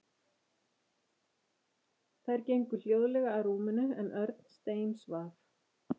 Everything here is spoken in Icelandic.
Þær gengu hljóðlega að rúminu en Örn steinsvaf.